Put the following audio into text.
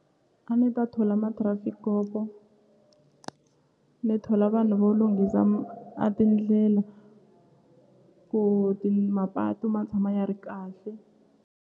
A ni ta thola ma-trafic kopo ni thola vanhu vo lunghisa a tindlela ku ti mapatu ma tshama ya ri kahle.